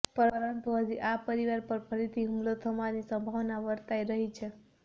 પરંતુ હજુ આ પરીવાર પર ફરીથી હુમલો થવાની સંભાવના વર્તાઈ રહી છે